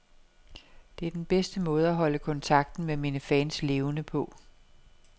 Det er den bedste måde at holde kontakten med mine fans levende på.